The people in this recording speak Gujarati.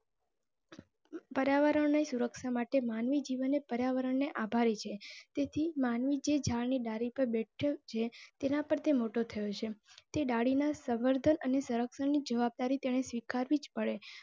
પર્યાવરણ ની સુરક્ષા માટે માનવી જીવન ને પર્યાવરણ ને આભારી છે. તેથી માનવી જ ઝાડ ની ડાળી પર બેઠું છે તેના પર તે મોટો થયો છે. તે ડાળી ના સરક્ષણ ની જવાબદારી તેને સ્વીકારવી જ પડે.